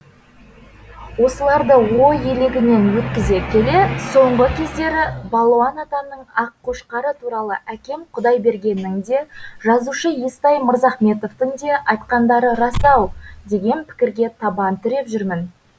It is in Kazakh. осыларды ой елегінен өткізе келе соңғы кездері балуан атамның аққошқары туралы әкем құдайбергеннің де жазушы естай мырзахметовтің де айтқандары рас ау деген пікірге табан тіреп жүрмін